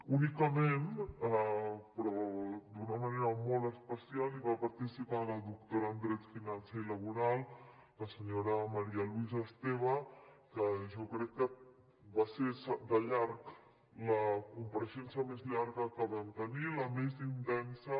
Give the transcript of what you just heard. únicament però d’una manera molt especial hi va participar la doctora en dret financer i laboral la senyora maría luisa esteve que jo crec que va ser de llarg la compareixença més llarga que vam tenir la més intensa